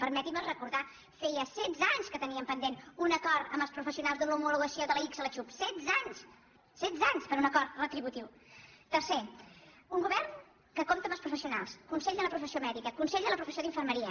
per·metin·me recordar·ho feia setze anys que teníem pen·dent un acord amb els professionals d’una homologació de l’ics a la xhup setze anys setze anys per a un acord retributiu tercer un govern que compta amb els professionals consell de la professió mèdica consell de la professió d’infermeria